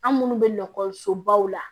An minnu bɛ nakɔsobaw la